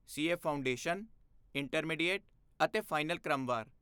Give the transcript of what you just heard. C A foundation, intermediate ਅਤੇ final ਕ੍ਰਮਵਾਰ।